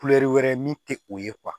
wɛrɛ min tɛ o ye